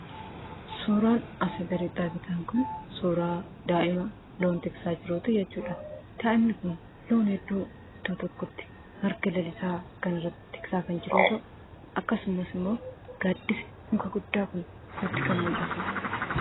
Suuraan asii gaditti argitan kun suuraa daa'ima loon tiksaa jiruu ti jechuu dha. Daa'imni kun loon hedduu iddoo tokkotti marga lalisaa kanarra tiksaa kan jiru yoo ta'u, akkasumas immoo gaaddisni muka guddaa kun nutti kan mul'atuu dha.